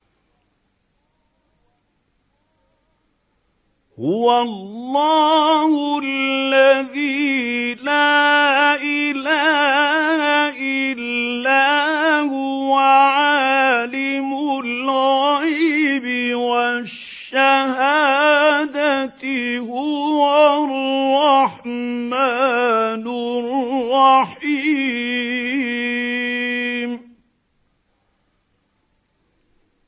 هُوَ اللَّهُ الَّذِي لَا إِلَٰهَ إِلَّا هُوَ ۖ عَالِمُ الْغَيْبِ وَالشَّهَادَةِ ۖ هُوَ الرَّحْمَٰنُ الرَّحِيمُ